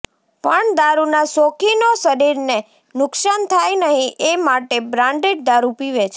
પણ દારૂના શોખીનો શરીરને નુકશાન થાય નહીં એ માટે બ્રાન્ડેડ દારૂ પીવે છે